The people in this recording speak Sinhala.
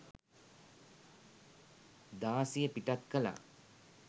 දාසිය පිටත් කළා.